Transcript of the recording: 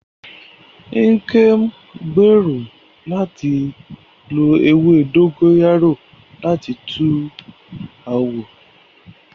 Nkem ń gbèrò láti lo ewé dógóyárò láti tu àwọ̀